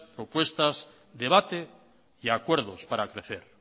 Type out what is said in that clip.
propuestas debate y acuerdos para crecer